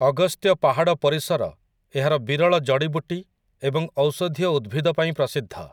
ଅଗସ୍ତ୍ୟ ପାହାଡ଼ ପରିସର ଏହାର ବିରଳ ଜଡ଼ିବୁଟି ଏବଂ ଔଷଧୀୟ ଉଦ୍ଭିଦ ପାଇଁ ପ୍ରସିଦ୍ଧ ।